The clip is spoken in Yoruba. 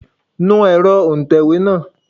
Nu ẹ̀rọ òǹtẹ̀wé náà!